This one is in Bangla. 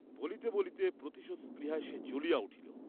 বলিতে বলিতে প্রতিশোধ স্পৃহায় সে জ্বলিয়া উঠিল।